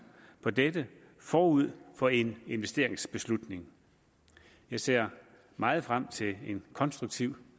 på dette forud for en investeringsbeslutning jeg ser meget frem til en konstruktiv